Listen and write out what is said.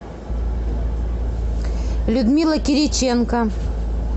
людмила кириченко